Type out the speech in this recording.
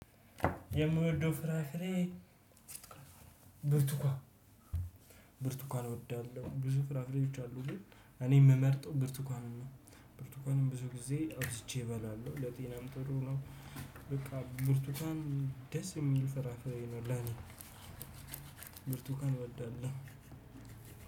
የምወደው ፍራፍሬ ብርቱካን ብርቱካን እወዳለሁ ብዙ ፍራፍሬዎች አሉ ግን እኔ የምመርጠው ብርቱካንን ነው። ብርቱካንን ብዙ ጊዜ አብዝቼ እበላለሁ ለጤናም ጥሩ ነው። በቃ ብርቱካን ደስ የሚል ፍራፍሬ ነው ለኔ። ብርቱካን እወዳለሁ።